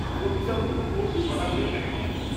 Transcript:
-প্রতিটা মূল কোর্স ছ'টা করে ক্রেডিট দেবে।